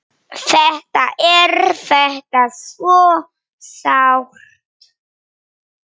Þetta er þetta svo sárt!